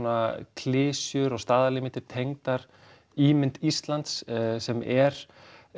klisjur og staðalímyndir tengdar ímynd Íslands sem er